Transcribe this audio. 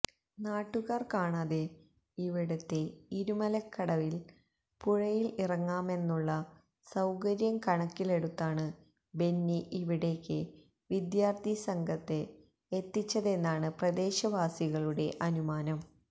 നാട്ടുകാർ കാണാതെ ഇവിടത്തെ ഇരുമലക്കടവിൽ പുഴയിൽ ഇറങ്ങാമെന്നള്ള സൌകര്യം കണക്കിലെടുത്താണ് ബെന്നി ഇവിടേക്ക് വിദ്യാർത്ഥി സംഘം എത്തിച്ചതെന്നാണ് പ്രദേശവാസികളുടെ അനുമാനം